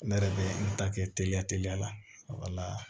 Ne yɛrɛ bɛ n ta kɛ teliya teliya la